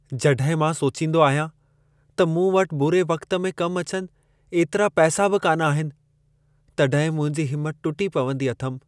जॾहिं मां सोचींदो आहियां त मूं वटि बुरे वक़्त में कम अचनि एतिरा पैसा बि कान्ह आहिनि, तॾहिं मुंहिंजी हिमत टुटी पवंदी अथमि।